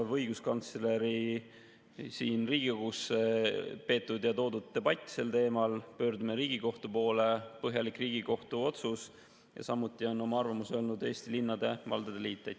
See on õiguskantsleri siin Riigikogus peetud ja siia toodud debatt sel teemal, pöördumine Riigikohtu poole, põhjalik Riigikohtu otsus, ja samuti on oma arvamuse öelnud Eesti Linnade ja Valdade Liit.